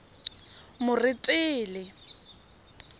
moretele